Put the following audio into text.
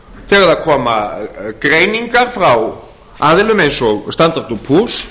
það koma greiningar frá aðilum eins og standard